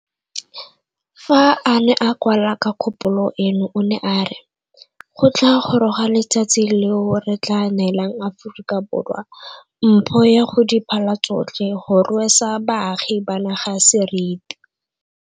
Fa a ne a kwala ka kgopolo eno o ne a re, Go tla goroga letsatsi leo re tla neelang Aforika Borwa mpho ya go di phala tsotlhe go rwesa baagi ba naga seriti.